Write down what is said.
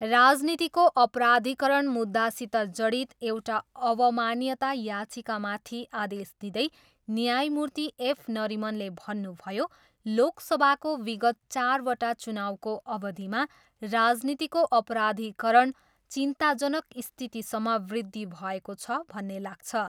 राजनीतिको अपराधिकरण मुद्दासित जडित एउटा अवमान्यता याचिकामाथि आदेश दिँदै न्यायमूर्ति एफ नरिमनले भन्नुभयो, लोकसभाको विगत चारवटा चुनाउको अवधिमा राजनीतिको अपराधिकरण चिन्ताजनक स्थितसम्म वृद्धि भएको छ भन्ने लाग्छ।